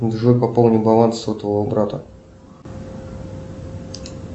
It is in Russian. джой пополни баланс сотового брата